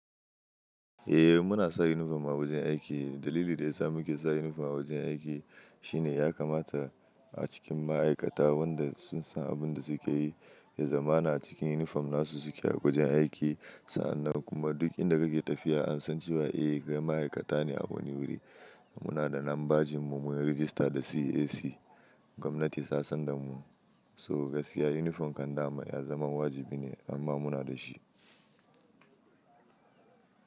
Eh muna sa unifom a wajen aiki. Dalili da ya sa muke sa unifom a wajen aiki shine ya kamata a cikin ma'aikata wanda sun san abin da suke yi, ya zama na cikin unifom na su su ke a wajen aiki. Sa'an nan kuma duk inda kake tafiya an san cewa eh, ga ma'aikata ne a wani wuri. Muna da lambajin mu mun rijista da CAC. Gwamnati ta san da mu, so gaskiya unifom kan dama ya zama wajibi ne amma muna da shi.